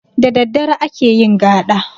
Da daddare ake yin gaɗa